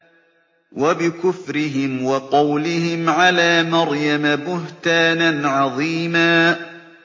وَبِكُفْرِهِمْ وَقَوْلِهِمْ عَلَىٰ مَرْيَمَ بُهْتَانًا عَظِيمًا